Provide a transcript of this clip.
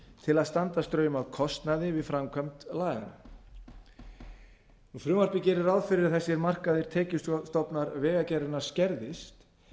til að standa straum af kostnaði við framkvæmd laganna frumvarpið gerir ráð fyrir að þessir mörkuðu tekjustofnar vegagerðarinnar skerðist